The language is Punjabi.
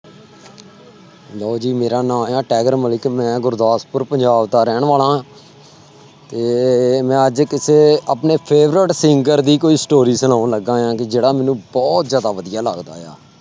ਲਓ ਜੀ ਮੇਰਾ ਨਾਂ ਹੈ ਟਾਇਗਰ ਮਲਿਕ ਮੈਂ ਗੁਰਦਾਸਪੁਰ ਪੰਜਾਬ ਦਾ ਰਹਿਣ ਵਾਲਾ ਹਾਂ ਤੇ ਮੈਂ ਅੱਜ ਕਿਸੇ ਆਪਣੇ favorite singer ਦੀ ਕੋਈ story ਸੁਣਾਉਣ ਲੱਗਾ ਹੈ ਵੀ ਜਿਹੜਾ ਮੈਨੂੰ ਬਹੁਤ ਜ਼ਿਆਦਾ ਵਧੀਆ ਲੱਗਦਾ ਆ।